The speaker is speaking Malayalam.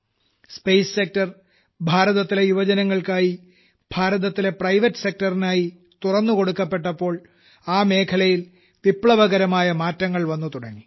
സ്പേസ് സെക്ടർ ഭാരതത്തിലെ യുവജനങ്ങൾക്കായി ഭാരതത്തിലെ പ്രൈവേറ്റ് സെക്ടർ നായി തുറന്നുകൊടുക്കപ്പെട്ടപ്പോൾ ആ മേഖലയിൽ വിപ്ലവകരമായ മാറ്റങ്ങൾ വന്നുതുടങ്ങി